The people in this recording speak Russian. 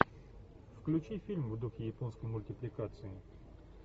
включи фильм в духе японской мультипликации